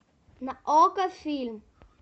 на окко фильм